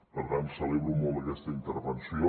per tant celebro molt aquesta intervenció